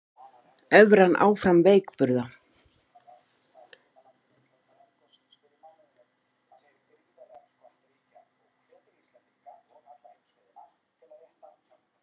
Evran áfram veikburða